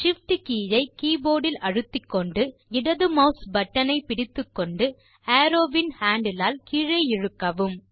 Shift key ஐ keyboard ல் அழுத்திக்கொண்டு இடது மாஸ் பட்டன் ஐ பிடித்துக்கொண்டு அரோவ் வின் ஹேண்டில் ஆல் கீழே இழுக்கவும்